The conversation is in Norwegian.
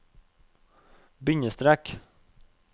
bindestrek